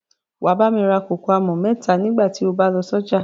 Wà á bá mi rà kòkò àmọ̀ mẹ́ta nígbà tí ó bá lọ sọ́jà.